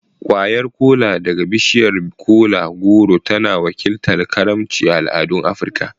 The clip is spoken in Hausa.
Kwayar Kola daga bishiyar kola-goro tana wakiltar karimci a al'adun Afirka.